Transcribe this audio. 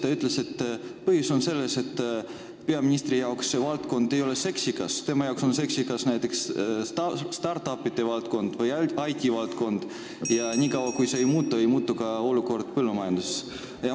Ta ütles, et põhjus on selles, et peaministri arvates see valdkond ei ole seksikas, tema arvates on seksikas näiteks startup'ide või IT-valdkond, ja kuni see ei muutu, ei muutu ka olukord põllumajanduses.